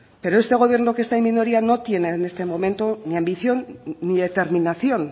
pero este gobierno que está en minoría no tiene en este momento ni ambición ni determinación